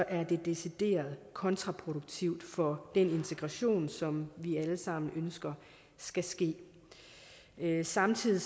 er decideret kontraproduktivt for den integration som vi alle sammen ønsker skal ske samtidig